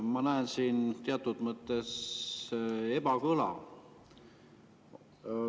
Ma näen siin teatud mõttes ebakõla.